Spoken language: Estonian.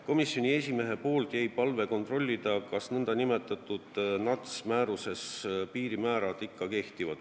Komisjoni esimees palus kontrollida, kas nn NUTS-i määruses toodud piirimäärad ikka kehtivad.